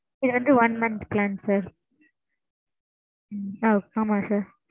இது வந்து one month plan sir. ஒ ஆமா sir.